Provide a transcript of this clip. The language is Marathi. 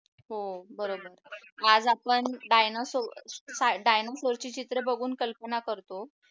हो बरोबर आज आपण डायनासोर ची चित्र बघून कल्पना करतो की